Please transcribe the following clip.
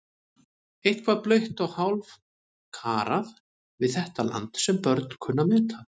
Eitthvað blautt og hálfkarað við þetta land sem börn kunnu að meta.